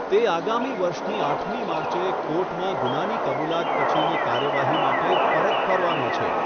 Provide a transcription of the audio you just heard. તે આગામી વર્ષની આઠમી માર્ચે કોર્ટમાં ગુનાની કબૂલાત પછીની કાર્યવાહી માટે પરત ફરવાનો છે.